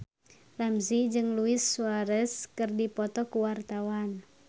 Ramzy jeung Luis Suarez keur dipoto ku wartawan